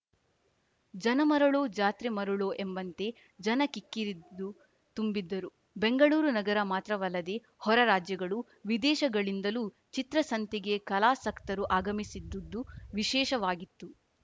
ಜನ ಮರಳೋ ಜಾತ್ರೆ ಮರಳೋ ಎಂಬಂತೆ ಜನ ಕಿಕ್ಕಿರಿದು ತುಂಬಿದ್ದರು ಬೆಂಗಳೂರು ನಗರ ಮಾತ್ರವಲ್ಲದೆ ಹೊರ ರಾಜ್ಯಗಳು ವಿದೇಶಗಳಿಂದಲೂ ಚಿತ್ರಸಂತೆಗೆ ಕಲಾಸಕ್ತರು ಆಗಮಿಸಿದ್ದದ್ದು ವಿಶೇಷವಾಗಿತ್ತು